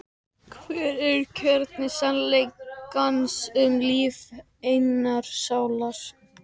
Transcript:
Hver er kjarni sannleikans um líf einnar sálar?